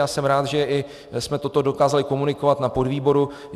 Já jsem rád, že i jsme toto dokázali komunikovat na podvýboru.